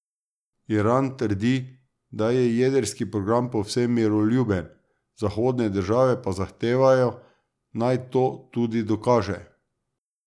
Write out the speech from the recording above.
Iran trdi, da je jedrski program povsem miroljuben, zahodne države pa zahtevajo, naj to tudi dokaže.